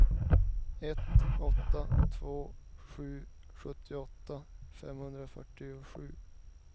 ett åtta två sju sjuttioåtta femhundrafyrtiosju